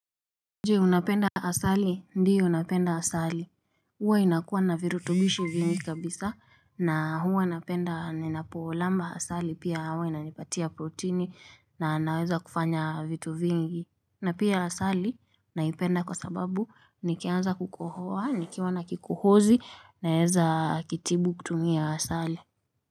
Je unapenda asali ndio napenda asali huwa inakuwa na virutubishi vingi kabisa na huwa napenda ninapo lamba asali pia huwa inanipatia protini na naweza kufanya vitu vingi na pia asali naipenda kwa sababu nikianza kukohoa nikiwa na kikohozi naweza kitibu kutumia asali.